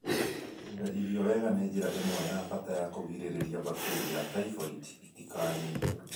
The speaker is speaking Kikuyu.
Kũiga irio wega nĩ njĩra ĩmwe ya bata ya kũgirĩrĩria bakteria ya typhoid itikanyitwo.